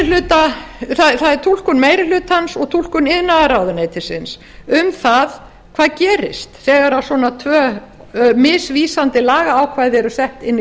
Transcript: það er túlkun meiri hlutans og túlkun iðnaðarráðuneytisins um það hvað gerist þegar svona tvö misvísandi lagaákvæði eru sett inn í